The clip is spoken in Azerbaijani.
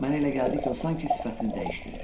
Mənə elə gəldi ki, o sanki sifətini dəyişdirir.